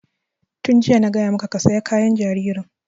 Tun jiya na gaya maka ka saya kayan jaririn!